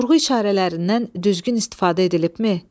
Durğu işarələrindən düzgün istifadə edilibmi?